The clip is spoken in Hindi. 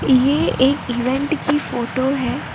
यह एक इवेंट की फोटो है।